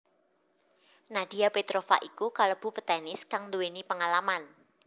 Nadia Petrova iku kalebu petenis kang nduwéni pengalaman